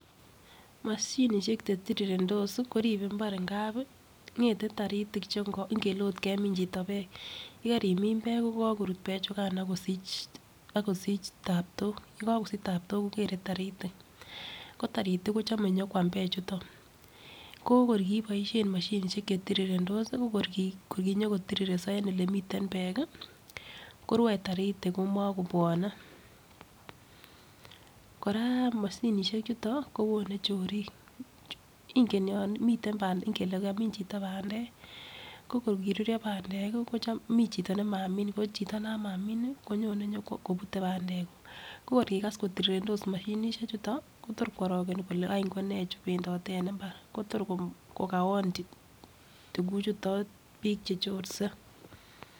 Moshinishek chetirirendos koribe imbar ngapi ngate taritik chengo ngele ot kemin chito peek yekerimin peek ko kokorut peek chukan akosich akosich taptok yekokosich taptok kokere tarik ko taritik kochome nyokwam peek chuton ko kor kiboishen moshinishek chetirirendos ko kor kinyo kotirireso en olemiten peek kii korue taritik omokobwone. Koraa moshinishek chuton kowone chorik ingen yon miten pendek ngele kamin chito pandek ko kor koruryo pandek kii kochom mii chito nemamii ko chito non Mamii nii konyone nyokobute pandek kuk ko kor kokas kotirireso mashinishek chuto Kotor kworokeni kole wany konee chu pendote en imbar Kotor kokawon tukuchuton bik chechorse.